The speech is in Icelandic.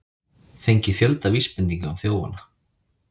Fengið fjölda vísbendinga um þjófana